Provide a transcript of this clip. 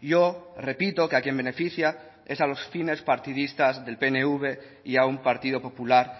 yo repito que a quien beneficia es a los fines partidistas del pnv y a un partido popular